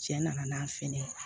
Cɛ nana n'a fɛn ye